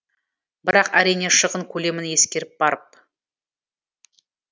бірақ әрине шығын көлемін ескеріп барып